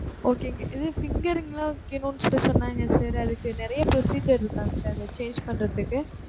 Okay ங்க. இது fingering லாம் வைக்கணும்ன்னு சொல்லி சொன்னாங்க sir. அதுக்கு நிறைய procedure இருக்கா sir அத change பண்றதுக்கு?